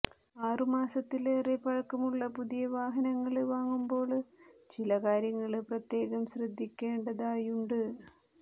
ആറു മാസത്തിലേറെ പഴക്കമുള്ള പുതിയ വാഹനങ്ങള് വാങ്ങുമ്പോള് ചില കാര്യങ്ങള് പ്രത്യേകം ശ്രദ്ധിക്കേണ്ടതായുണ്ട്